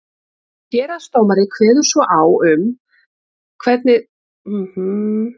héraðsdómari kveður svo á um það hvenær þinghald skuli fara fram